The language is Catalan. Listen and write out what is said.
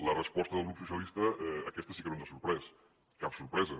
la resposta del grup socialista aquesta sí que no ens ha sorprès cap sorpresa